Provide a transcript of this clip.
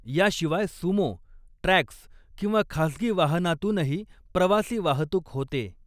या शिवाय Sumo, Trax किंवा खासगी वाहनातूनही प्रवासी वाहतूक होते.